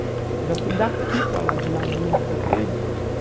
Eu já fui daqui para lá de navio, já voltei.